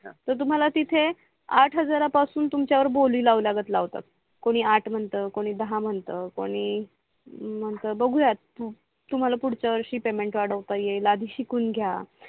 तर तुम्हाला तिथे आठ हजारा पासून तुमच्या वर बोली लाऊ लागत लावतात कोणी आठ म्हणत कोणी दहा म्हणत कोणी मग बगुयात तुम्हाला पुडच्या वर्षी पेमेंट वडता येईल आधी शिकून घ्या